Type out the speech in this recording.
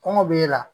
Kɔngɔ b'e la